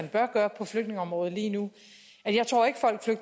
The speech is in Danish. bør gøre på flygtningeområdet lige nu